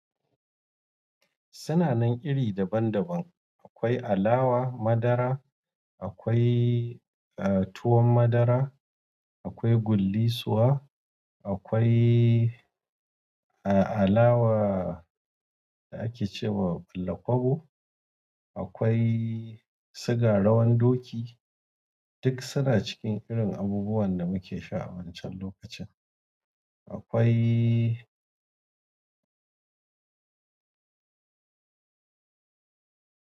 Suna nan iri daban daban. Akwai alawa madara, akwai tuwon madara, akwai gullisuwa, akwai alawa da ake ce wa bulakwabo, akwai siga rawan doki duk suna cikin irin abubuwan da muke sha a wancan lokacin. Akwai.